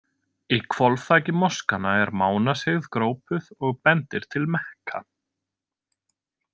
Í hvolfþaki moskanna er mánasigð grópuð og bendir til Mekka.